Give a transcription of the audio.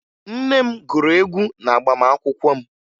Nne m gụrụ egwu n'agbamaakwụkwọ m